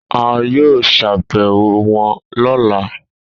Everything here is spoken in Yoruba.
A yoo ṣabẹwo wọn ọla.